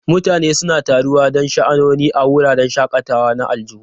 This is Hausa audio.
Mutane suna taruwa don sha'anoni a wuraren shakatawa na aljihu.